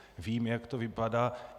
Vím, jak to vypadá.